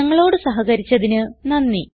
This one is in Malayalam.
ഞങ്ങളോട് സഹകരിച്ചതിന് നന്ദി